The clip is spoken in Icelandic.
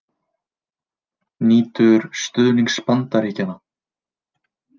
Nýtur stuðnings Bandaríkjanna